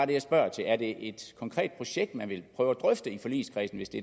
det jeg spørger til er det et konkret projekt man vil prøve at drøfte i forligskredsen hvis det